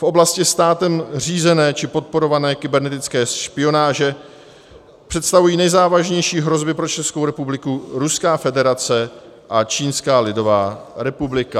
V oblasti státem řízené či podporované kybernetické špionáže představují nejzávažnější hrozby pro Českou republiku Ruská federace a Čínská lidová republika.